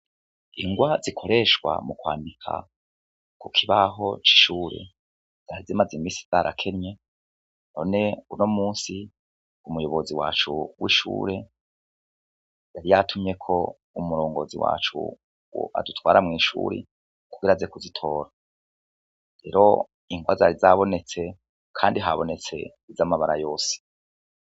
Ingwa zikoreshwa mu kwandika ku kibahocoishure yaze, maze imisi zarakenye hone uno musi umuyobozi wacu w'ishure yari yatumye ko umurongozi wacu wo adutwara mw'ishuri kugera aze kuzitora rero inkwazari zabonetse, kandi habonetse z'amabara yose.